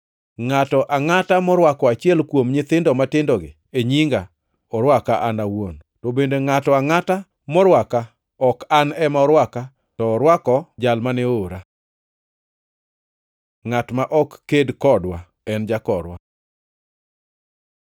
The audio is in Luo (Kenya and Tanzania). “Ngʼato angʼata morwako achiel kuom nyithindo matindogi e nyinga, orwaka An awuon, to bende ngʼato angʼata morwaka ok An ema orwaka, to orwako jal mane oora.” Ngʼat ma ok ked kodwa en jakorwa